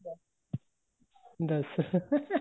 ਦੱਸ